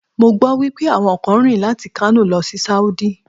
Mo gbọ́ wípé àwọn kan rìn láti Kano lọ sí Sáúdí.